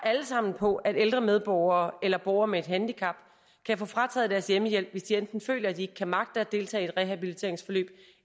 alle sammen på at ældre medborgere eller borgere med et handicap kan få frataget deres hjemmehjælp hvis de enten føler at de ikke kan magte at deltage i et rehabiliteringsforløb